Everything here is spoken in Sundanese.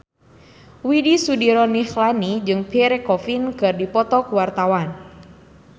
Widy Soediro Nichlany jeung Pierre Coffin keur dipoto ku wartawan